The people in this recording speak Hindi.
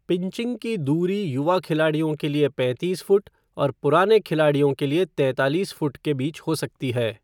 पिंचिंग की दूरी युवा खिलाड़ियों के लिए पैंतीस फुट और पुराने खिलाड़ियों के लिए तैंतालीस फुट के बीच हो सकती है।